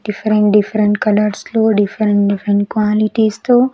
different different colours లో different different qualities తో --